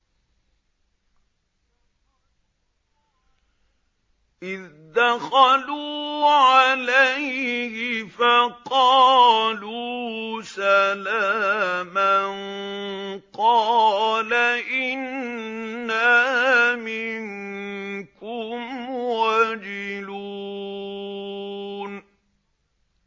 إِذْ دَخَلُوا عَلَيْهِ فَقَالُوا سَلَامًا قَالَ إِنَّا مِنكُمْ وَجِلُونَ